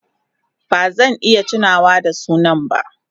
Ba zan iya tunawa da sunan ba.